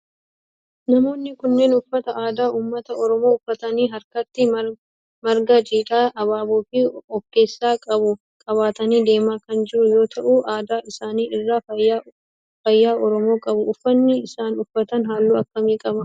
Namoonni kunneen uffata aadaa ummata oromoo uffatanii harkatti marga jiidhaa abaaboo of keessaa qabu qabatanii deemaa kan jira yoo ta'u adda isaanii irraa faaya oromoo qabu. Uffanni isaan uffatan halluu akkamii qaba?